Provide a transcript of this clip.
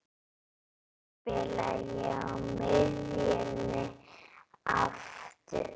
Spila ég á miðjunni aftur?